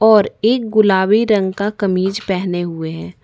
और एक गुलाबी रंग का कमीज़ पहने हुए हैं।